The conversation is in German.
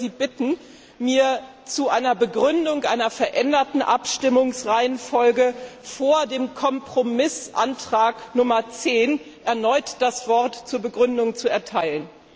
Ich würde Sie bitten, mir zu einer Begründung einer veränderten Abstimmungsreihenfolge vor dem Kompromissantrag Nummer 10 erneut das Wort zu erteilen.